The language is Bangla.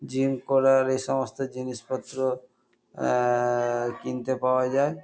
জিম করার এসমস্ত জিনিসপত্র আ-আ-আ কিনতে পাওয়া যায়।